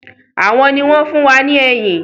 Àwọn ni wọn fun wá ní ẹyìn